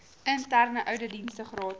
interne ouditdienste gratis